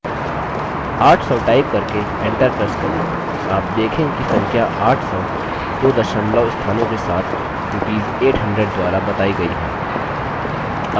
800 type करके enter press करें आप देखेंगे कि संख्या 800 दो दशमलव स्थानों के साथ rupees 800 द्वारा बताई गई है